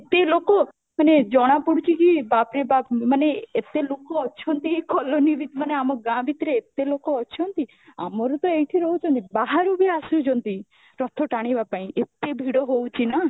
ଏତେ ଲୋକ ମାନେ ଜଣାପଡୁଛି କି ବାପରେ ବାପ ମାନେ ଏତେ ଲୋକ ଅଛନ୍ତି ଏଇ colony ରେ ମାନେ ଆମ ଗାଁ ଭିତରେ ଏତେ ଲୋକ ଅଛନ୍ତି, ଆମର ତ ଏଠି ରହୁଛନ୍ତି ବାହାରୁବି ଆସୁଛନ୍ତି ରଥ ଟାଣିବା ପାଇଁ ଏତେ ଭିଡ଼ ହୋଉଛି ନା